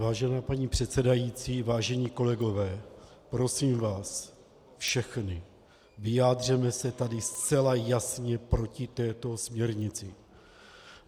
Vážená paní předsedající, vážení kolegové, prosím vás všechny, vyjádřeme se tady zcela jasně proti této směrnici.